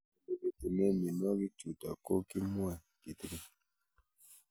Ole pitune mionwek chutok ko kimwau kitig'�n